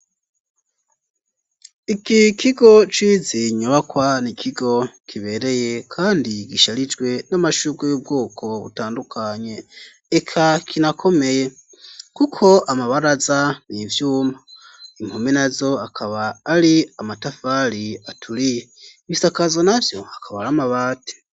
Iki kigo cizi nyubakwa nikigo kibereye, kandi gisharijwe n'amashurwe y'ubwoko butandukanye, eka kinakomeye, kuko amabaraza n'ivyuma, impome nazo akaba ari amatafari aturiye, ibisakazo navyo akaba ar'amabati.